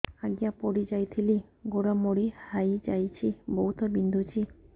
ଆଜ୍ଞା ପଡିଯାଇଥିଲି ଗୋଡ଼ ମୋଡ଼ି ହାଇଯାଇଛି ବହୁତ ବିନ୍ଧୁଛି